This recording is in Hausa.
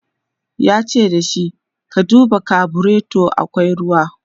yace da shi " ka duba carburator akwai ruwa!"